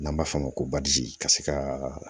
N'an b'a f'o ma ko ka se ka